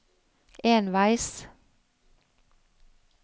enveis